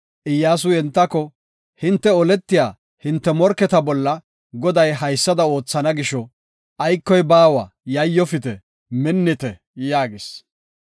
Iyyasuy entako, “Hinte oletiya hinte morketa bolla Goday haysada oothana gisho, aykoy baawa yayyofite; minnite” yaagis.